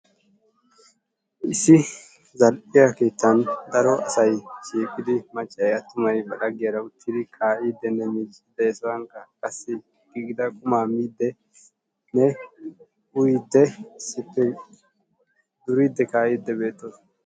issi zal'iya ketan daro asay shiiqidi maccay attumay ba laggiyara uttidi kaa'iidinne miiciidi des he sohuwankka qasi giigida qummaa midinne uyiidi issippe duriidi kaa'idi beetoosona.